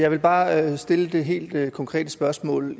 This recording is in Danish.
jeg vil bare stille det helt konkrete spørgsmål